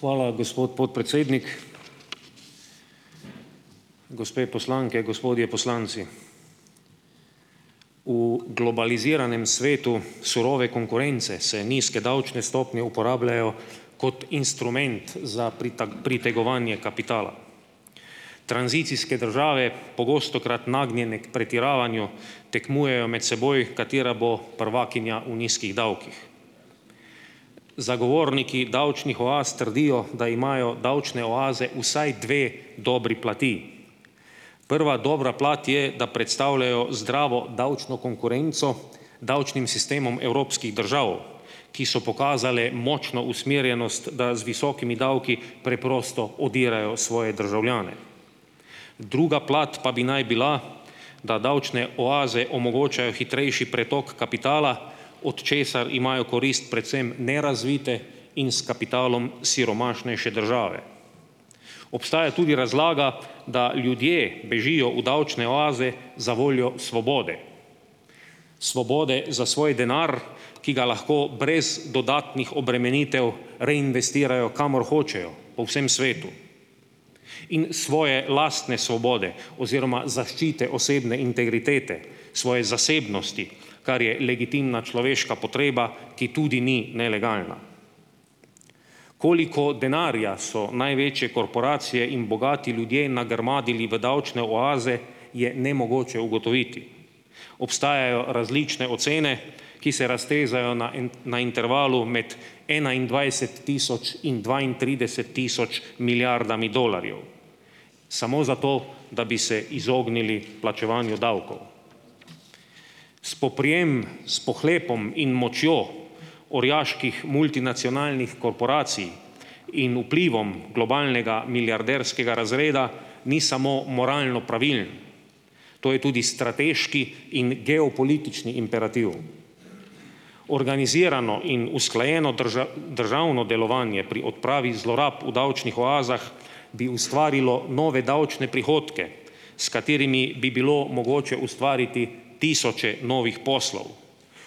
Hvala, gospod podpredsednik. Gospe poslanke, gospodje poslanci! V globaliziranem svetu surove konkurence se nizke davčne stopnje uporabljajo kot instrument za pritegovanje kapitala. Tranzicijske države, pogostokrat nagnjene k pretiravanju, tekmujejo med seboj, katera bo prvakinja v nizkih davkih. Zagovorniki davčnih oaz trdijo, da imajo davčne oaze vsaj dve dobri plati. Prva dobra plat je, da predstavljajo zdravo davčno konkurenco davčnim sistemom evropskih držav, ki so pokazale močno usmerjenost, da z visokimi davki preprosto odirajo svoje državljane. Druga plat pa bi naj bila, da davčne oaze omogočajo hitrejši pretok kapitala, od česar imajo korist predvsem nerazvite in s kapitalom siromašnejše države. Obstaja tudi razlaga, da ljudje bežijo v davčne oaze zavoljo svobode. Svobode za svoj denar, ki ga lahko brez dodatnih obremenitev reinvestirajo, kamor hočejo po vsem svetu, in svoje lastne svobode oziroma zaščite osebne integritete, svoje zasebnosti, kar je legitimna človeška potreba, ki tudi ni nelegalna. Koliko denarja so največje korporacije in bogati ljudje nagrmadili v davčne oaze, je nemogoče ugotoviti. Obstajajo različne ocene, ki se raztezajo na en na intervalu med enaindvajset tisoč in dvaintrideset tisoč milijardami dolarjev, samo zato, da bi se izognili plačevanju davkov. Spoprijem s pohlepom in močjo orjaških multinacionalnih korporacij in vplivom globalnega milijarderskega razreda ni samo moralno pravilen, to je tudi strateški in geopolitični imperativ. Organizirano in usklajeno državno delovanje pri odpravi zlorab v davčnih oazah bi ustvarilo nove davčne prihodke, s katerimi bi bilo mogoče ustvariti tisoče novih poslov,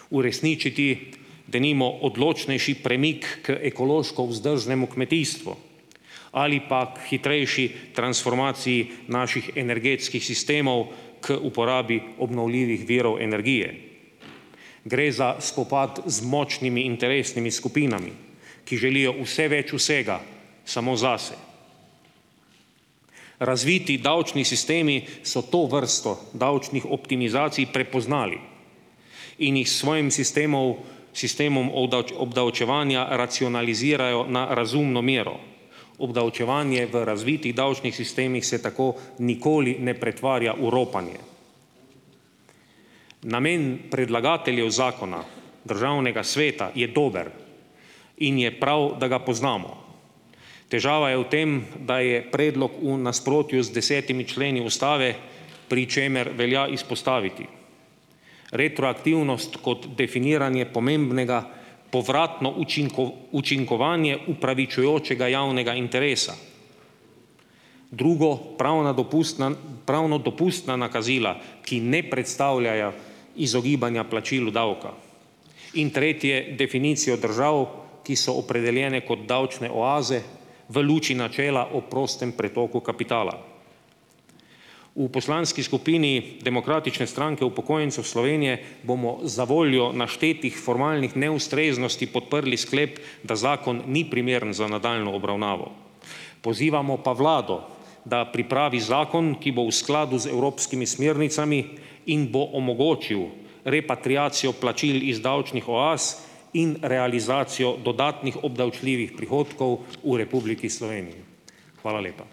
uresničiti, denimo, odločnejši premik k ekološko vzdržnemu kmetijstvu ali pa k hitrejši transformaciji naših energetskih sistemov k uporabi obnovljivih virov energije. Gre za spopad z močnimi interesnimi skupinami, ki želijo vse več vsega samo zase. Razviti davčni sistemi so to vrsto davčnih optimizacij prepoznali in jih s svojim sistemov, sistemom obdavčevanja racionalizirajo na razumno mero. Obdavčevanje v razvitih davčnih sistemih se tako nikoli ne pretvarja v ropanje. Namen predlagateljev zakona državnega sveta je dober in je prav, da ga poznamo. Težava je v tem, da je predlog v nasprotju z desetimi členi ustave, pri čemer velja izpostaviti retroaktivnost kot definiranje pomembnega povratno učinkovanje upravičujočega javnega interesa. Drugo, pravna dopustna, pravno dopustna nakazila, ki ne predstavljajo izogibanja plačilu davka. In tretje, definicijo držav, ki so opredeljene kot davčne oaze v luči načela o prostem pretoku kapitala. V poslanski skupini Demokratične stranke upokojencev Slovenije bomo zavoljo naštetih formalnih neustreznosti podprli sklep, da zakon ni primeren za nadaljnjo obravnavo. Pozivamo pa vlado, da pripravi zakon, ki bo v skladu z evropskimi smernicami in bo omogočil repatriacijo plačil iz davčnih oaz in realizacijo dodatnih obdavčljivih prihodkov v Republiki Sloveniji. Hvala lepa.